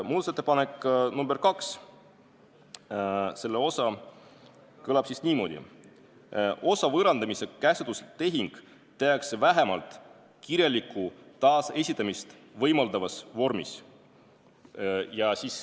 Muudatusettepaneku nr 2 üks osa kõlab niimoodi: osa võõrandamise käsundustehing tehakse vähemalt kirjalikku taasesitamist võimaldavas vormis.